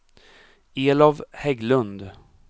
Elof Hägglund